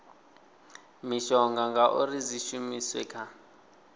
mishonga uri dzi shumiswe kha